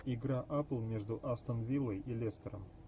игра апл между астон виллой и лестером